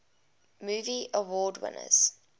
movie award winners